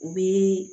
U bi